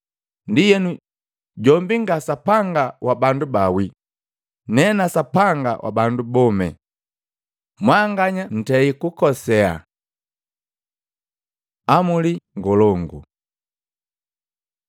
Ndienu, jombi nga Sapanga wa bandu bawile, nena Sapanga wa bandu bome. Mwanganya ntei kukosie.” Amuli ngolongo Matei 22:34-40; Luka 10:25-28